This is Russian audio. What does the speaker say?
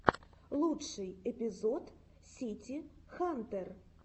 лучший эпизод сити хантер